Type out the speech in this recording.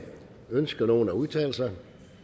ønsker nogen at udtale sig